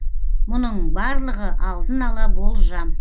мұның барлығы алдын ала болжам